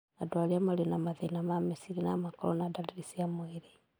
Andũ arĩa marĩ na mathĩna ma meciria no makorũo na ndariri cia mwĩrĩ